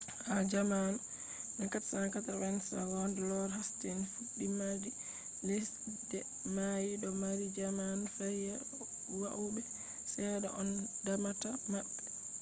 ha jamanu 1480s,lord hasting fudde madi lesde mai do mari zaman lafiya woube sedda on damata mabbe